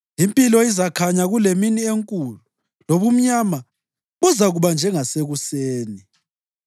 Impilo izakhanya kulemini enkulu, lobumnyama buzakuba njengasekuseni.